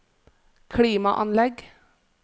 klimaanlegg